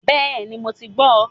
Bẹ́ẹ̀ni ,mo ti gbó o